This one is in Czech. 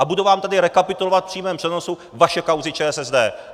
A budu vám tady rekapitulovat v přímém přenosu vaše kauzy ČSSD.